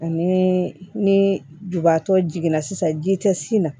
Ani ni jubaatɔ jiginna sisan ji tɛ sin na